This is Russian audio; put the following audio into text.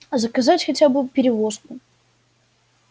заказать хотя бы перевозку